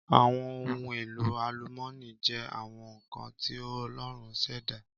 Àwọn ohun èlò àlúmọní jẹ́ àwọn nkan ti Ọlọrun ṣẹ̀dá.